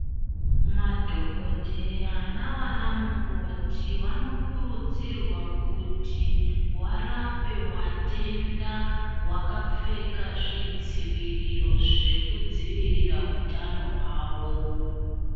Madhokodheya navanamukoti vanokurudzirwa kuti varape vatenda vakapfeka zvidziviriro zvekudziirira hutano hwavo.